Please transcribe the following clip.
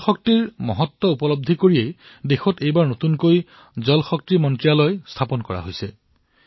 পানীৰ গুৰুত্বক সৰ্বোপৰি ৰাখি দেশত নতুন জল শক্তি মন্ত্ৰালয় স্থাপন কৰা হৈছে